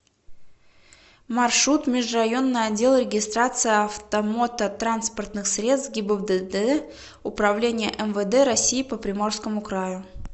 маршрут межрайонный отдел регистрации автомототранспортных средств гибдд управления мвд россии по приморскому краю